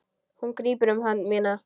Hún grípur um hönd mína.